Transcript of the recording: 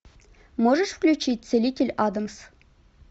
можешь включить целитель адамс